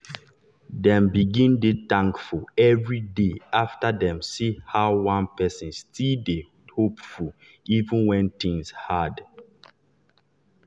dem begin dey thankful every day after dem see how one person still dey hopeful even when things hard.